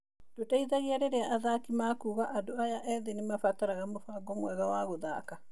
Ndũteithagia rĩrĩa athaki makuaga - andũ aya ethĩ nĩ mabataraga mũbango mwega wa gũthaka.